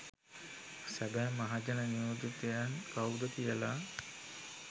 සැබෑ මහජන නියෝජිතයන් කවුද කියලා